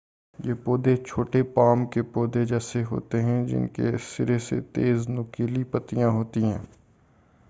یہ پودے چھوٹے پام کے پودے جیسے ہوتے ہیں جن کے سرے پر تیز نوکیلی پتیاں ہوتی ہیں